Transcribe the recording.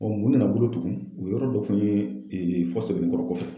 mun nana bolo tugun o yɔrɔ dɔ fɔ n ye fɔ sɛbɛnnikɔrɔ kɔfɛ.